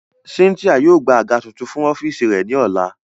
Cynthia yóò gba aga tuntun fun ọfiisi rẹ ni ọla.